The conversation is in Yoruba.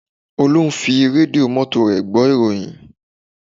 Olú ń fi rédíò mọ́tò rẹ̀ gbọ́ ìròyìn